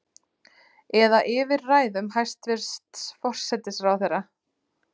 Eða yfir ræðum hæstvirts forsætisráðherra?